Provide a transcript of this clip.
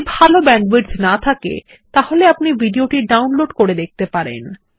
যদি ভাল ব্যান্ডউইডথ না থাকে তাহলে আপনি ভিডিও টি ডাউনলোড করে দেখতে পারেন